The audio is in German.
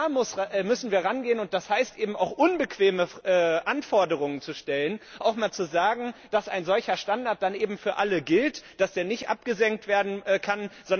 Da müssen wir rangehen, und das heißt eben auch unbequeme Anforderungen zu stellen, auch einmal zu sagen, dass ein solcher Standard dann eben für alle gilt, dass er nicht abgesenkt werden kann.